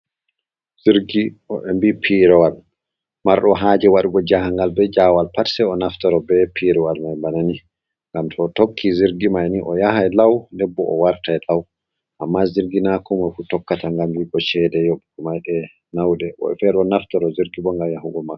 Jirgi, woɓɓe vii pirowal. Marɗo haaje waɗugo jahangal be jaawal pat, sai o naftoro be pirowal mai bana ni. Ngam to o tokki jirgi mai ni, o yahai lau nden bo o wartai lau. Amma jirgi naa komoi fu tokkata, ngam yi'i go chede yoɓugo maaje nauɗe. Woɓɓe feere ɗo naftoro jirgi bo, ngam yahugo Makka.